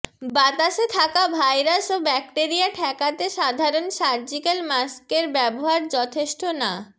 বাতাসে থাকা ভাইরাস ও ব্যকটোরিয়া ঠেকাতে সাধারণ সার্জিক্যাল মাস্কের ব্যবহার যথেষ্ঠ না